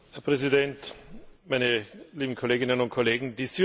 Herr Präsident, meine lieben Kolleginnen und Kollegen!